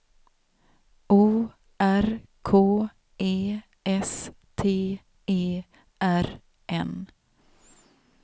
O R K E S T E R N